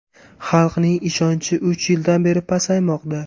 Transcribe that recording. Xalqning ishonchi uch yildan beri pasaymoqda.